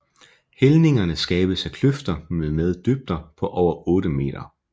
Hældningerne skabes af kløfter mmed dybder på over 8 meter